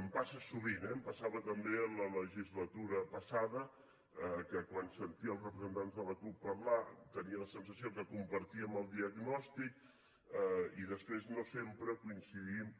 em passa sovint eh em passava també en la legislatura passada que quan sentia els representants de la cup parlar tenia la sensació que compartíem el diagnòstic i després no sempre coincidim